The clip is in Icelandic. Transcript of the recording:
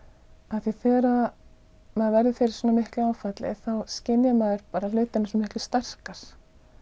af því þegar maður verður fyrir svona miklu áfalli skynjar maður hlutina miklu sterkar